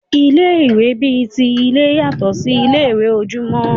Ilé ìwé bi ti ilé yàtọ sí ilé ìwé ojúmọ́.